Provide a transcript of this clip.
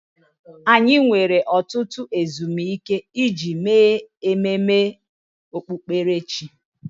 Anyị nwere ọtụtụ ezumike iji mee ememe okpukperechi.